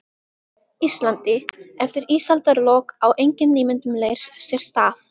Íslandi eftir ísaldarlok, á engin nýmyndun leirs sér stað.